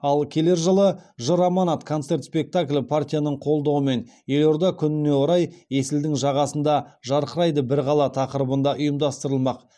ал келер жылы жыр аманат концерт спектаклі партияның қолдауымен елорда күніне орай есілдің жағасында жарқырайды бір қала тақырыбында ұйымдастырылмақ